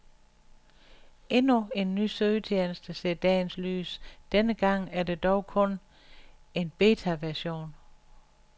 Endnu en ny søgetjeneste ser dagens lys, denne gang er det dog kun en betaversion.